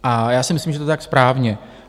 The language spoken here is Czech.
A já si myslím, že je to tak správně.